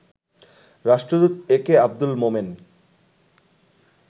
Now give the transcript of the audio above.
রাষ্ট্রদূত A K Abdul Momen